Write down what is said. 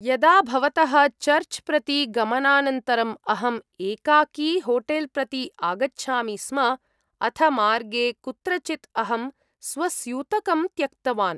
यदा भवतः चर्च् प्रति गमनानन्तरम् अहं एकाकी होटेल् प्रति आगच्छामि स्म, अथ मार्गे कुत्रचित् अहं स्वस्यूतकं त्यक्तवान्।